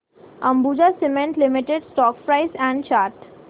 Ambuja cement limited stock price and chart